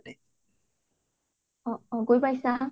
অ অ গৈ পাইছা?